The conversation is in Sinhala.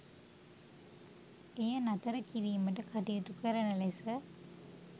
එය නතර කිරීමට කටයුතු කරන ලෙස